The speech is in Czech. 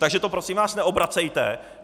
Takže to prosím vás neobracejte.